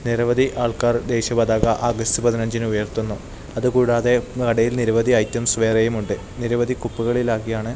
നിരവധി ആൾക്കാർ ദേശിയ പതാക ആഗസ്റ്റ് പതിനഞ്ചിന് ഉയർത്തുന്നു അതുകൂടാതെ കടയിൽ നിരവധി ഐറ്റംസ് വേറെയും ഉണ്ട് നിരവധി കുപ്പകളിൽ ആക്കിയാണ്--